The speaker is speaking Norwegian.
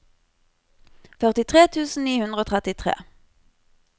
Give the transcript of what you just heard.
førtitre tusen ni hundre og trettitre